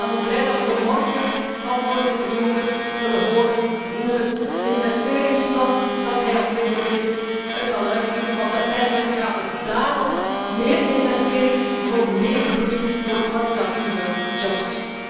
Ik ben dan ook blij dat wij morgen van voorzitter Juncker zullen horen hoe het investeringsplan dat hij ontwikkeld heeft, eruit zal zien, want uiteindelijk gaat het om meer investeringen voor meer groei, voor kwalitatieve jobs.